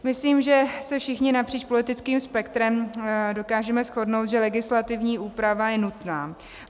Myslím, že se všichni napříč politickým spektrem dokážeme shodnout, že legislativní úprava je nutná.